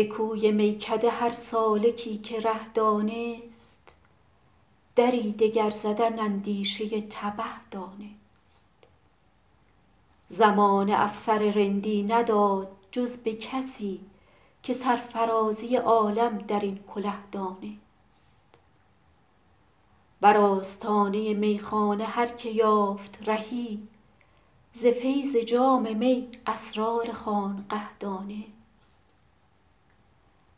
به کوی میکده هر سالکی که ره دانست دری دگر زدن اندیشه تبه دانست زمانه افسر رندی نداد جز به کسی که سرفرازی عالم در این کله دانست بر آستانه میخانه هر که یافت رهی ز فیض جام می اسرار خانقه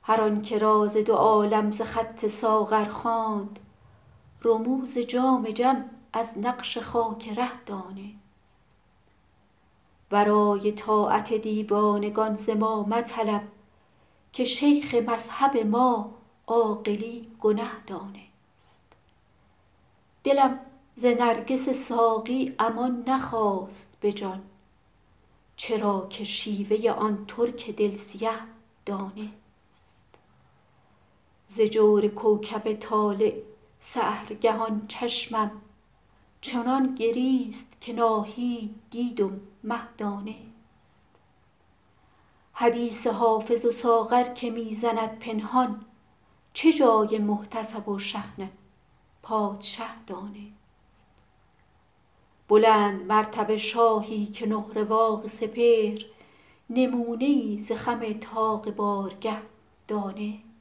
دانست هر آن که راز دو عالم ز خط ساغر خواند رموز جام جم از نقش خاک ره دانست ورای طاعت دیوانگان ز ما مطلب که شیخ مذهب ما عاقلی گنه دانست دلم ز نرگس ساقی امان نخواست به جان چرا که شیوه آن ترک دل سیه دانست ز جور کوکب طالع سحرگهان چشمم چنان گریست که ناهید دید و مه دانست حدیث حافظ و ساغر که می زند پنهان چه جای محتسب و شحنه پادشه دانست بلندمرتبه شاهی که نه رواق سپهر نمونه ای ز خم طاق بارگه دانست